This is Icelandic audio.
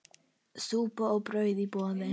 Súpa og brauð í boði.